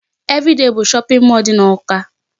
Everyday bụ shopping mall dị n'Awka.